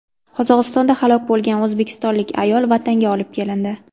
Qozog‘istonda halok bo‘lgan o‘zbekistonlik ayol vatanga olib kelindi.